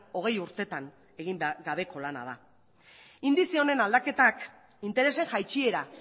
hogei urtetan egin gabeko gaia da indize honen aldaketak interesen jaitsiera